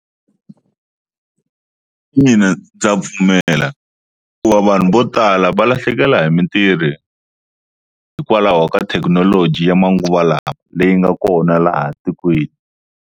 Mina ndza pfumela hikuva vanhu vo tala va lahlekela hi mintirho hikwalaho ka thekinoloji ya manguva lawa leyi nga kona laha tikweni.